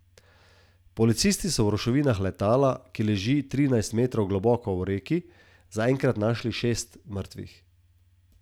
Policisti so v ruševinah letala, ki leži v trinajst metrov globoki reki, zaenkrat našli šest mrtvih.